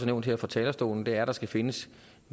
nævnt her fra talerstolen er at der skal findes